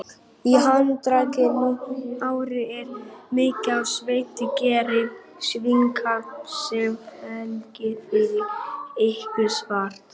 Í handarkrikum og nárum er mikið af sérstakri gerð svitakirtla sem framleiða þykkan, fitumikinn svita.